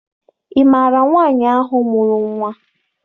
Ị maara nwaanyị ahụ mụrụ nnwa?